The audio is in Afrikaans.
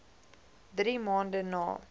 drie maande na